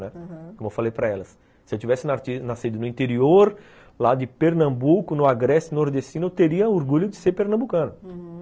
Aham, como eu falei para elas, se eu tivesse nascido no interior, lá de Pernambuco, no Agreste Nordestino, eu teria orgulho de ser pernambucano, uhum